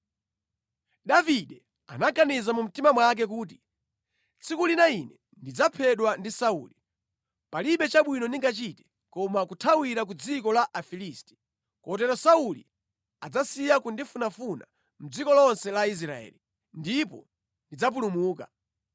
Davide anaganiza mu mtima mwake nati, “Tsiku lina ine ndidzaphedwa ndi Sauli. Palibe chabwino ndingachite, koma kuthawira ku dziko la Afilisti. Kotero Sauli adzasiya kundifunafuna mʼdziko lonse la Israeli, ndipo ndidzapulumuka.”